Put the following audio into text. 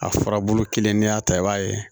A furabulu kelen n'i y'a ta i b'a ye